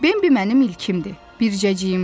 Bimbi mənim ilkimdi, bircəciyimdir.